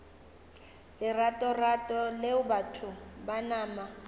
leratorato leo batho ba nama